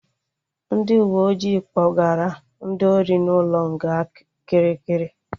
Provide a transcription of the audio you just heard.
Ndị uwe ojii kpọgara ndị ori na ụlọ nga Kirikiri